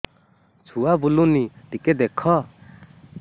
ଛୁଆ ବୁଲୁନି ଟିକେ ଦେଖ